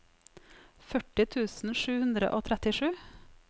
førti tusen sju hundre og trettisju